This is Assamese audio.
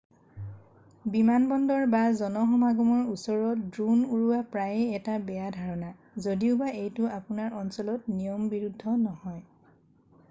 বিমানবন্দৰ বা জনসমাগমৰ ওচৰত ড্ৰোন উৰোৱা প্ৰায়েই এটা বেয়া ধাৰণা যদিওবা এইটো আপোনাৰ অঞ্চলত নিয়মবিৰুদ্ধ নহয়